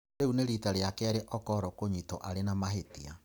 Rĩu nĩ riita rĩa kerĩ Okoro kũnyitũo aarĩ na mahĩtia.